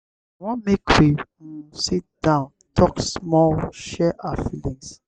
i wan make we um sit down tok small share our feelings.